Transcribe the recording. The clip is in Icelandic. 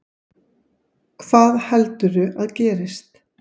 Hvað heldurðu að gerist?